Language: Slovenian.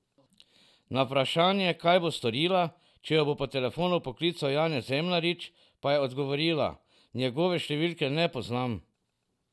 Na vprašanje, kaj bo storila, če jo bo po telefonu poklical Janez Zemljarič, pa je odgovorila: 'Njegove številke ne poznam.